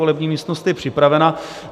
Volební místnost je připravena.